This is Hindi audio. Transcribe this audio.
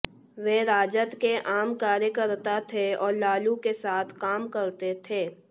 वे राजद के आम कार्यकर्ता थे और लालू के साथ काम करते थे